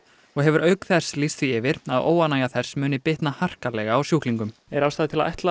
og hefur auk þess lýst því yfir að óánægja þess muni bitna harkalega á sjúklingum er ástæða til að ætla